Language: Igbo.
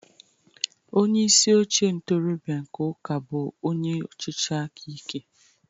Onye isi oche ntorobịa nke ụka bụ onye ọchịchị aka ike.